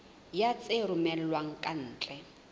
ya tse romellwang ka ntle